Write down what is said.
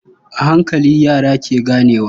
A hankali, yara ke ganewa.